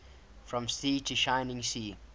from sea to shining sea